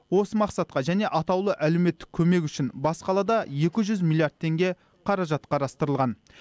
осы мақсатқа және атаулы әлеуметтік көмек үшін бас қалада екі жүз миллиард теңге қаражат қарастырылған